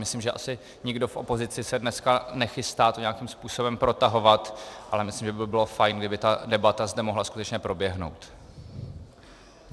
Myslím, že asi nikdo v opozici se dneska nechystá to nijakým způsobem protahovat, ale myslím, že by bylo fajn, kdyby ta debata zde mohla skutečně proběhnout.